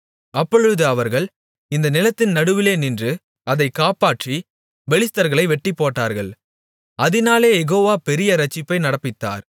அப்பொழுது அவர்கள் இந்த நிலத்தின் நடுவிலே நின்று அதைக் காப்பாற்றிப் பெலிஸ்தர்களை வெட்டிப்போட்டார்கள் அதினாலே யெகோவா பெரிய இரட்சிப்பை நடப்பித்தார்